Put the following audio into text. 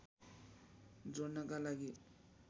जोड्नका लागि